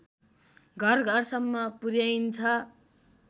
घरघरसम्म पुर्‍याइन्छ